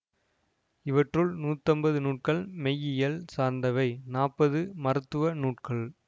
இவற்றுள் நூத்தைம்பது நூல்கள் மெய்யியல் சார்ந்தவை நாற்பது மருத்துவ நூல்கள்